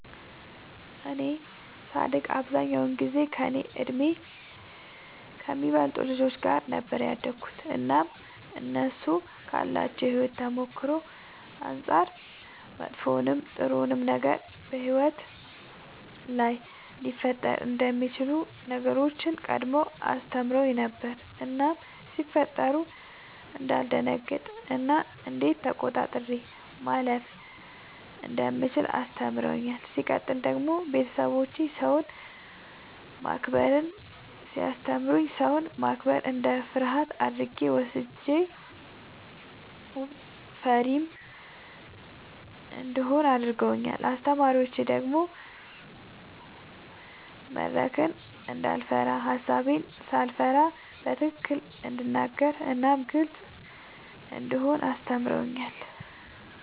እኔ ሳድግ አብዛኛውን ጊዜ ከእኔ በእድሜ ከሚበልጡ ልጆች ጋር ነበር ያደግሁትኝ እናም እነሱ ካላቸው የሕይወት ተሞክሮ አንጻር መጥፎውንም ጥሩውንም ነገር በሕይወት ላይ ሊፈጠሩ የሚችሉ ነገሮችን ቀድመው አስተምረውኝ ነበር እናም ሲፈጠሩ እንዳልደነግጥ እና እንዴት ተቆጣጥሬ ማለፍ እንደምችል አስተምረውኛል። ሲቀጥል ደግሞ ቤተሰቦቼ ሰውን ማክበርን ሲያስተምሩኝ ሰውን ማክበር እንደ ፍርሃት አድርጌ ወስጄው ፈሪም እንደሆን አድርገውኛል። አስተማሪዎቼ ደግሞ መድረክን እንዳይፈራ ሐሳቤን ሳልፈራ በትክክል እንድናገር እናም ግልጽ እንደሆን አስተምረውኛል።